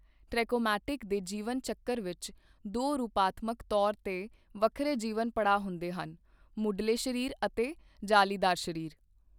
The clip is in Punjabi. ਟ੍ਰੈਕੋਮੈਟੀ ਦੇ ਜੀਵਨ ਚੱਕਰ ਵਿੱਚ ਦੋ ਰੂਪਾਤਮਕ ਤੌਰ ਤੇ ਵੱਖਰੇ ਜੀਵਨ ਪੜਾਅ ਹੁੰਦੇ ਹਨਃ ਮੁਢਲੇ ਸਰੀਰ ਅਤੇ ਜਾਲੀਦਾਰ ਸਰੀਰ।